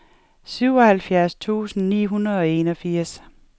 syvoghalvfjerds tusind ni hundrede og enogfirs